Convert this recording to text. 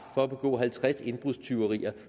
for at begå halvtreds indbrudstyverier